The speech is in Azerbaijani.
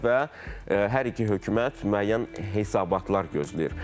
və hər iki hökumət müəyyən hesabatlar gözləyir.